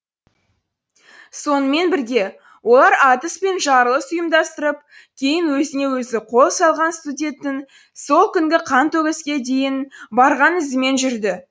сонымен бірге олар атыс пен жарылыс ұйымдастырып кейін өзіне өзі қол салған студенттің сол күнгі қантөгіске дейін барған ізімен жүреді